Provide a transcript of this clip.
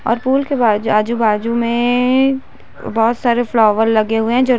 --और पूल के बा आजु बाजू में बहोत सारे फ्लावर्स लगे हुए है जो--